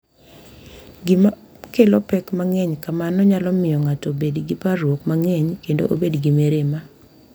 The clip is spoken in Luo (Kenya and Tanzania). Gima kelo pek mang’eny kamano nyalo miyo ng’ato obed gi parruok mang’eny kendo obed gi mirima.